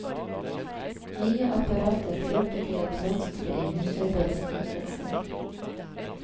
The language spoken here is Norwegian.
Nye apparater førte til at mønsteret i husarbeidet endret seg.